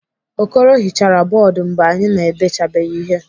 Okoro hichara bọọdụ mgbe anyị na-edechabeghị ihe.